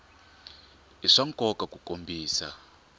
i swa nkoka ku kombisa